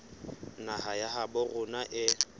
naha ya habo rona e